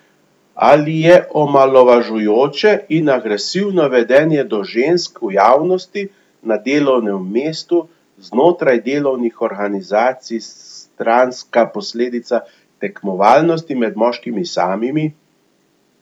Ali je omalovažujoče in agresivno vedenje do žensk v javnosti, na delovnem mestu, znotraj delovnih organizacij stranska posledica tekmovalnosti med moškimi samimi?